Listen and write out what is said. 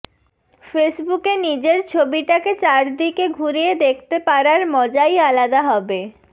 ফেসবুকে নিজের ছবিটাকে চারদিকে ঘুরিয়ে দেখতে পারার মজাই আলাদা হবে